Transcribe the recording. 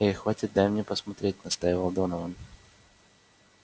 эй хватит дай мне посмотреть настаивал донован